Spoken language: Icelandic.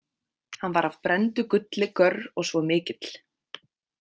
Hann var af brenndu gulli görr og svo mikill.